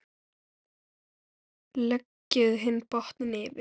Leggið hinn botninn yfir.